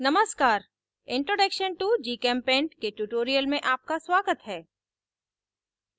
नमस्कार introduction to gchempaint के tutorial में आपका स्वागत है